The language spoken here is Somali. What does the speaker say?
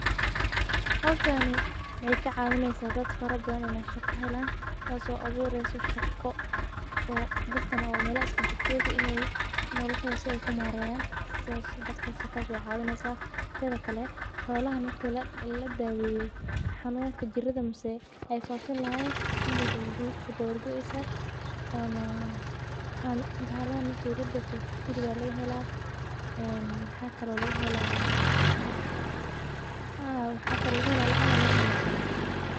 Hishani waxee ka cawineysa dad badan in ee shaqa helan tas oo abureyso in ee shaqa helan tas oo ka cawineysa in ee hilib aya laga hela maxaa kalo laga hela lacag sa waye faidada ee leyihin waa faidha macalinta ilmaha si fican ayey qawaneysa.